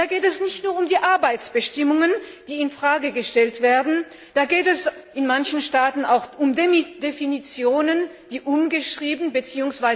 Da geht es nicht nur um die Arbeitsbestimmungen, die in Frage gestellt werden, da geht es in manchen Staaten auch um Definitionen, die umgeschrieben bzw.